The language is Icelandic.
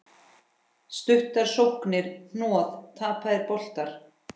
Stuttar sóknir, hnoð, tapaðir boltar.